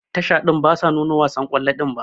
Tasha din basu nuno wasan kwallo din ba.